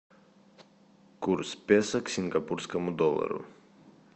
курс песо к сингапурскому доллару